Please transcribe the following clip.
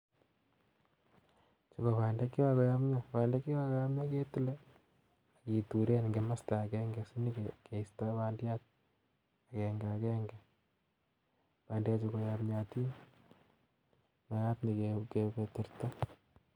Chu ko bandek che kakoyomnyo, bandek che kakoyomnyo ketile, kituren ing komosta akenge sini keistoi bandiat akenga akenge, bandechu koyomnyotin makat.